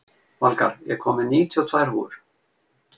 Valgarð, ég kom með níutíu og tvær húfur!